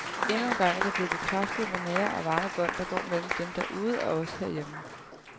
Endnu engang er det blevet bekræftet, hvor nære og varme bånd der går mellem dem derude og os herhjemme.